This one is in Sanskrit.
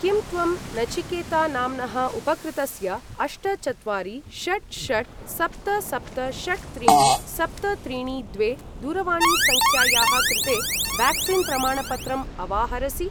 किं त्वं नचिकेता नाम्नः उपकृतस्य अष्ट चत्वारि षट् षट् सप्त सप्त षट् त्रीणि सप्त त्रीणि द्वे दूरवाणीसङ्ख्यायाः कृते व्याक्सीन् प्रमाणपत्रम् अवाहरसि?